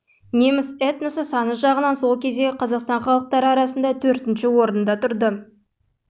неміс этносы саны жағынан сол кездегі қазақстан халықтары арасында төртінші орында тұр